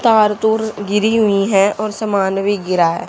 तार तोर गिरी हुईं हैं और सामान भी गिरा है।